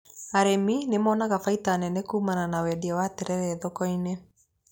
Arĩmi nĩmonaga baita nene kuumana na wendia wa terere thoko-inĩ.